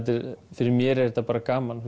fyrir mér er þetta bara gaman